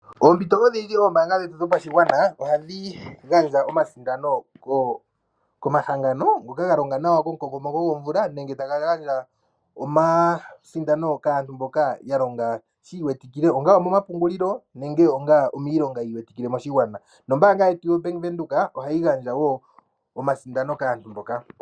Oompito odhindji oombaanga dhetu dhopashigwana ohadhi gandja omasindano komahangano ngoka ga longa nawa komukokomoko gwomvula nenge taya gandja omasindano kaantu mboka ya longa shi iwetikile onga omomapungulilo nenge onga miilonga yi iwetikile moshigwana. Nombaanga yetu yo Bank Windhoek ohayi gandja wo omasindano kaantu mboka.